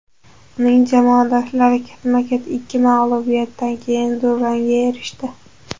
Uning jamoadoshlari ketma-ket ikki mag‘lubiyatdan keyin durangga erishdi.